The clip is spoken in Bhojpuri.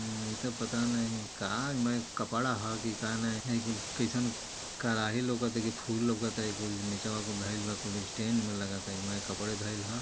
इते पता नाही कहां में कपड़ा ह कि का नही है कि कइसन कराही लउकत है कि फुल लउकत है ई कुल निचवा कुल धईल बा कुल स्टैंड में लगत बा यही मारे कपड़वे धइल है|